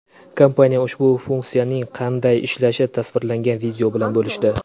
Kompaniya ushbu funksiyaning qanday ishlashi tasvirlangan video bilan bo‘lishdi.